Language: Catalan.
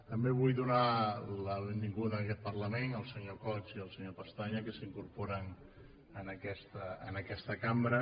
també vull donar la benvinguda a aquest parlament al senyor cots i al senyor pestaña que s’incorporen en aquesta cambra